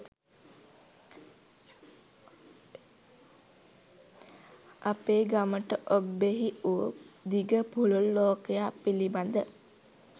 අපේ ගමට ඔබ්බෙහි වු දිග පුළුල් ලෝකයක් පිළිබඳ